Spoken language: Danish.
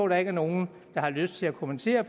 der ikke er nogen der har lyst til at kommentere